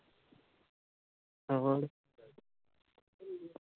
ਹੋਰ।